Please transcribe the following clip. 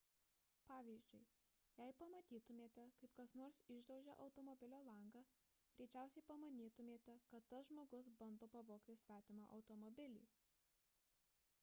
pavyzdžiui jei pamatytumėte kaip kas nors išdaužia automobilio langą greičiausiai pamanytumėte kad tas žmogus bando pavogti svetimą automobilį